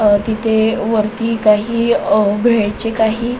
अ तिथे वरती काही अ भेळचे काही --